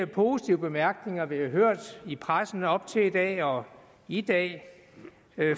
positive bemærkninger vi har hørt i pressen op til i dag og i dag